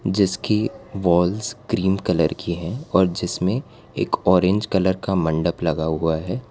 जिसकी walls cream colour की है और जिसमें एक ऑरेंज कलर का मंडप लगा हुआ है।